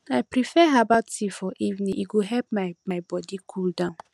i prefer herbal tea for evening e go help my my body cool down